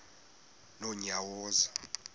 nonyawoza